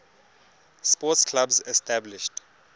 sports clubs established